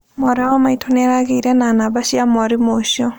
Mwarĩ wa maitũ nĩaragĩire na namba cia mwarimũ ũcio